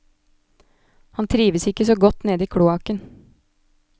Han trives ikke så godt nede i kloakken.